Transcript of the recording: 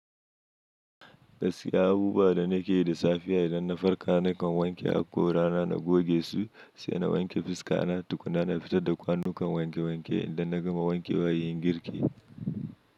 Gaskiya abubuwa da nake yi da safiya idan na farka nakan wanke haƙorana na goge su, sai na wanke fuska na tukuna na fita da kwanukan wanke wanke idan na gama wanke wayoyin girki.